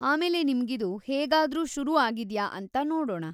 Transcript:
ಆಮೇಲೆ ನಿಮ್ಗಿದು ಹೇಗಾದ್ರೂ ಶುರು ಆಗಿದ್ಯಾ ಅಂತ ನೋಡೋಣ.